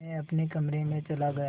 मैं अपने कमरे में चला गया